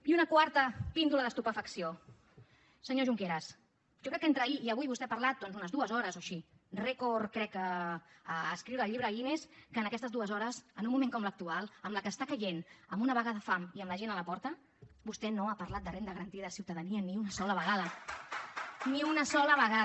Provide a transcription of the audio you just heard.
i una quarta píndola d’estupefacció senyor junqueras jo crec que entre ahir i avui vostè ha parlat doncs unes dues hores o així rècord crec a escriure al llibre guinness que en aquestes dues hores en un moment com l’actual amb la que està caient amb una vaga de fam i amb la gent a la porta vostè no hagi parlat de renda garantida de ciutadania ni una sola vegada ni una sola vegada